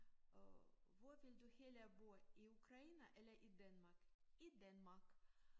Og hvor vil du hellere bo i Ukraine eller i Danmark? I Danmark